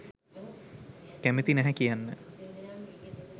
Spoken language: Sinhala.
කැමති නැහැ කියන්න.